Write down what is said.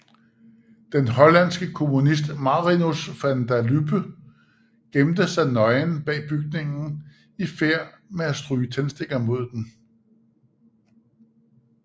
Den hollandske kommunist Marinus van der Lubbe gemte sig nøgen bag bygningen i færd med at stryge tændstikker mod den